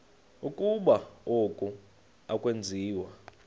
ukuba oku akwenziwa